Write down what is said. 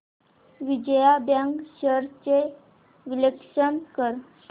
Vijaya bank shares चे विश्लेषण कर